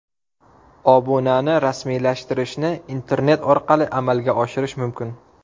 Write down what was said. Obunani rasmiylashtirishni internet orqali amalga oshirish mumkin.